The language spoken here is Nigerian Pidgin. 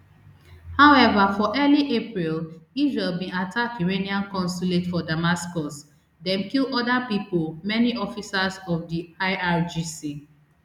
however for early april israel bin attack iranian consulate for damascus dem kill oda pipo many officers of di irgc